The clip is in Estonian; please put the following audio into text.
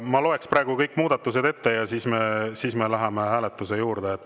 Ma loen praegu kõik muudatused ette ja siis me läheme hääletuse juurde.